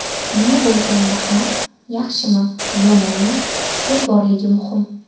Nima bo‘lganda ham, yaxshimi-yomonmi, fikr borligi muhim.